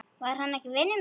Var hann ekki vinur minn?